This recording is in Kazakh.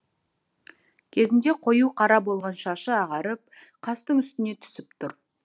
кезінде қою қара болған шашы ағарып қастың үстіне түсіп тұр